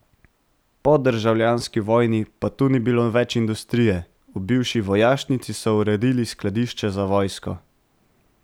Po državljanski vojni pa tu ni bilo več industrije, v bivši vojašnici so uredili skladišče za vojsko.